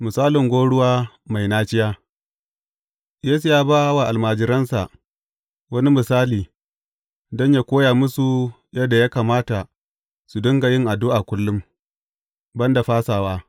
Misalin gwauruwa mai naciya Yesu ya ba wa almajiransa wani misali, don yă koya musu yadda ya kamata su dinga yin addu’a kullum, ban da fasawa.